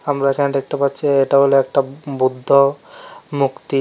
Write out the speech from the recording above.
আমরা এখানে দেখতে পাচ্ছি এটা হল একটা বুদ্ধ মুক্তি।